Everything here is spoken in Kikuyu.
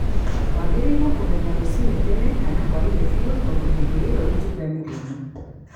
Wagĩrĩirwo kũgetha rũciinĩ tene kana hwainĩ fiu tondũ hĩndĩ ĩyo itunda nĩ rĩũmũ